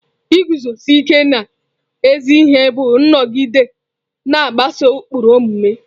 Iguzosi ike n'ezi ihe bụ ịnọgide na-agbaso ụkpụrụ omume.